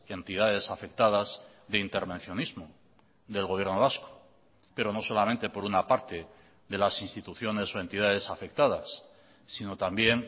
entidades afectadas de intervencionismo del gobierno vasco pero no solamente por una parte de las instituciones o entidades afectadas sino también